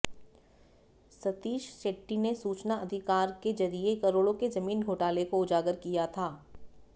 सतीश शेट्टी ने सूचना अधिकार के जरिए करोड़ों के जमीन घोटाले को उजागर किया था